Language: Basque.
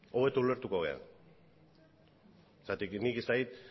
hobeto ulertuko gara zergatik nik ez dakit